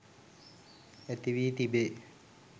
ඇති වී තිබේ.